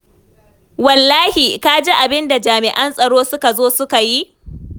Wallahi, ka ji abin da jami'an tsaro suka zo suka yi?